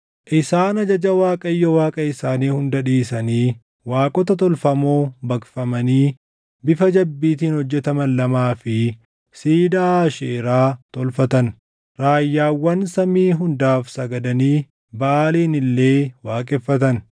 Isaan ajaja Waaqayyo Waaqa isaanii hunda dhiisanii waaqota tolfamoo baqfamanii bifa jabbiitiin hojjetaman lamaa fi siidaa Aasheeraa tolfatan. Raayyaawwan samii hundaaf sagadanii Baʼaalin illee waaqeffatan.